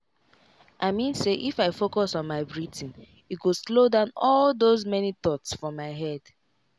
i mean say if i focus on my breathing e go slow down all those many thoughts for my head.